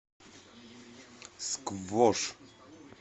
сквош